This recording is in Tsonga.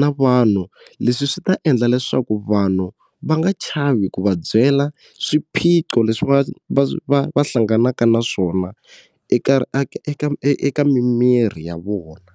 na vanhu leswi swi ta endla leswaku vanhu va nga chavi ku va byela swiphiqo leswi va va va va hlanganaka na swona eka eka eka mimiri ya vona.